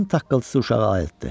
Onu taksının uşağı ayırdı.